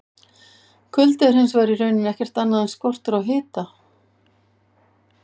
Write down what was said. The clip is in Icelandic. Kuldi er hins vegar í rauninni ekkert annað en skortur á hita!